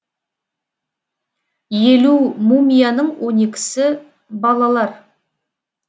елу мумияның он екісі балалар